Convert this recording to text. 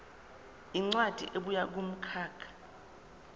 incwadi ebuya kumkhakha